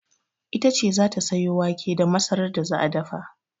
Ita ce za ta sayo wake da masarar da za a dafa.